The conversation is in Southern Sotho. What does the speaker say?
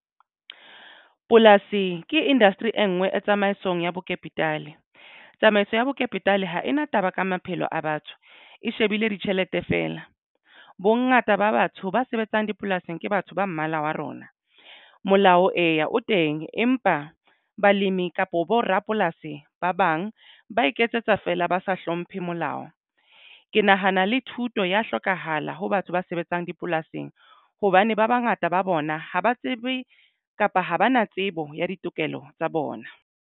Polasi ke industry e nngwe e tsamaisong ya bo kapitale tsamaiso ya bo kapitale ha ena taba ka maphelo a batho e shebile ditjhelete fela. Bongata ba batho ba sebetsang dipolasing ke batho ba mmala wa rona molao eya o teng empa balemi kapo bo rapolasi ba bang ba iketsetsa feela ba sa hlomphe molao. Ke nahana le thuto ya hlokahala ho batho ba sebetsang dipolasing hobane ba bangata ba bona ha ba tsebe kapa ha ba na tsebo ya ditokelo tsa bona.